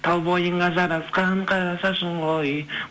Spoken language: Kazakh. тал бойыңа жарасқан қара шашың ғой